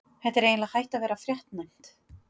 Þetta er eiginlega hætt að vera fréttnæmt!!